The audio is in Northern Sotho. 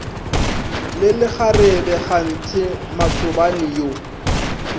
le lekgarebe kganthe matsobane yo